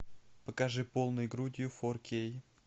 покажи полной грудью фор кей